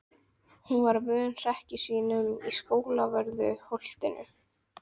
Hún var vön hrekkjusvínunum á Skólavörðu- holtinu.